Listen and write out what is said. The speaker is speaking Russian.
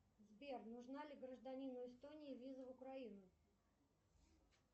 сбер нужна ли гражданину эстонии виза в украину